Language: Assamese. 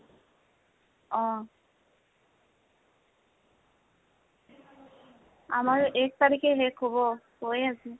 অহ। আমাৰ এক তাৰিখে শেষ হব, হৈয়ে আছে।